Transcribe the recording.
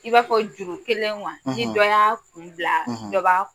I b'a fɔ juru kelen ni dɔ kun bila dɔ ba